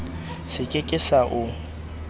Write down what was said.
se ke ke sa o